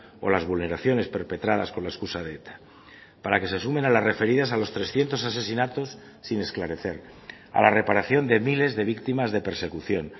o las vulneraciones perpetradas con la excusa de eta para que se sumen a las referidas a los trescientos asesinatos sin esclarecer a la reparación de miles de víctimas de persecución